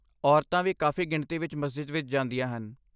ਔਰਤਾਂ ਵੀ ਕਾਫ਼ੀ ਗਿਣਤੀ ਵਿੱਚ ਮਸਜਿਦ ਵਿੱਚ ਜਾਂਦੀਆਂ ਹਨ।